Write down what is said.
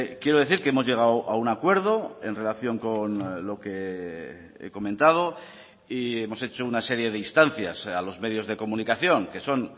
quiero decir que hemos llegado a un acuerdo en relación con lo que he comentado y hemos hecho una serie de instancias a los medios de comunicación que son